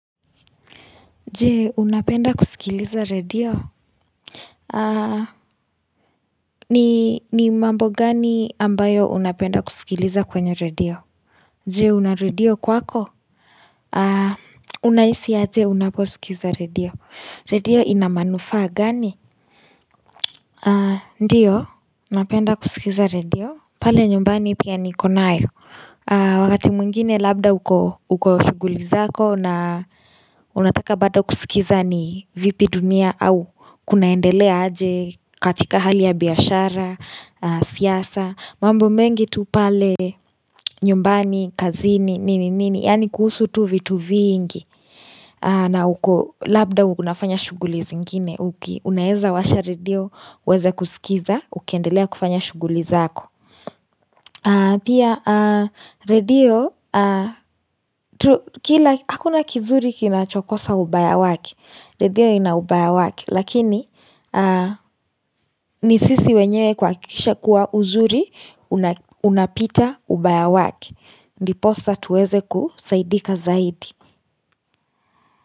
Je unapenda kusikiliza redio aa ni mambo gani ambayo unapenda kusikiliza kwenye redio je una redio kwako? Unahisi aje unapousikiza redio redio ina manufaa gani aa ndiyo napenda kusikiza redio pale nyumbani pia nikonayo aa wakati mwingine labda uko shuguli zako na unataka bado kusikiza ni vipi dunia au kunaendelea aje katika hali ya biashara, siasa mambo mengi tu pale nyumbani, kazini, nini nini, yaani kuhusu tu vitu vingi na uko labda unafanya shughuli zingine, unaeza washa redio, uweze kusikiza, ukiendelea kufanya shughuli zako Pia, redio, hakuna kizuri kinachokosa ubaya wake Redio ina ubaya wake Lakini, ni sisi wenyewe kuhakikisha kuwa uzuri Unapita ubaya wake Ndiposa tuweze kusaidika zaidi.